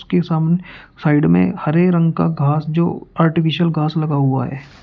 Side में हरे रंग का घास जो आर्टिफिशियल घास लगा हुआ है।